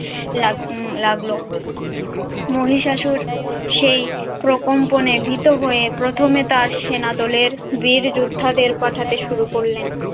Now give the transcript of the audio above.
লাগ্ম~ উম লাগলো। মহিষাসুর সেই প্রকম্পনে ভীত হয়ে প্রথমে তার সেনাদলের বীর যোদ্ধাদের পাঠাতে শুরু করলেন।